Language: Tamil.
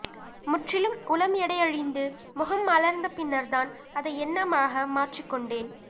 முற்றிலும் உளம் எடையிழந்து முகம் மலர்ந்த பின்னர்தான் அதை எண்ணமாக மாற்றிக்கொண்டேன்